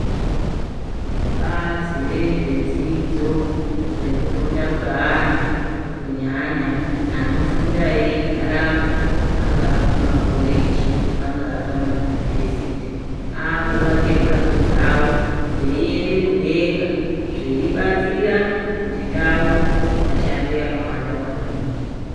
Bazi rezve dzidzo reku funda kwe ana kunyanya ano funda eyi garapo panga pama koreji panga pa yunivhesiti aku wake mhatso dzavo dzei ende mudenga zvei batsira kuti ndau isa shande yaka wanda maningi.